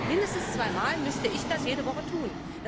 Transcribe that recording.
Mindestens zweimal müsste ich das jede Woche tun.